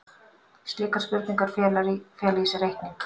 Slíkar spurningar fela í sér reikning.